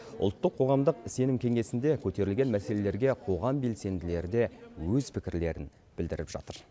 ұлттық қоғамдық сенім кеңесінде көтерілген мәселелерге қоғам белсенділері де өз пікірлерін білдіріп жатыр